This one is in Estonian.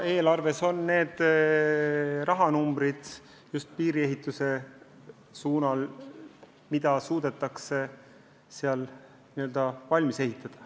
Eelarves on need rahanumbrid piiriehituse real.